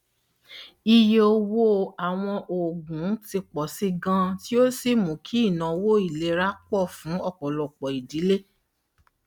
ìyé owó àwọn òògùn ti pọ sí i ganan tí ó sì mú kí ináwó ìlera pọ fún ọpọlọpọ ìdílé